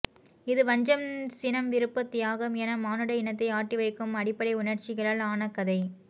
இது வஞ்சம் சினம் விருப்பு தியாகம் என மானுட இனத்தை ஆட்டிவைக்கும் அடிப்படை உணர்ச்சிகளால் ஆன கதை